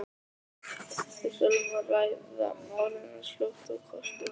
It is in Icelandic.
Við þurfum að ræða málin eins fljótt og kostur er.